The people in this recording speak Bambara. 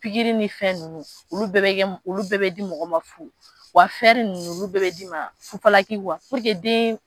Pikiri ni fɛn ninnu olu bɛɛ bɛ kɛ olu bɛɛ bɛ di mɔgɔ ma fu, wa ninnu olu bɛɛ bɛ d'i ma fufalaki puruke den